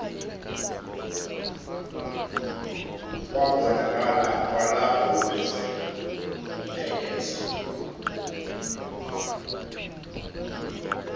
wabonakala kwalapha uphekesa